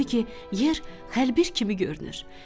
Gördü ki, yer xəlbir kimi görünür.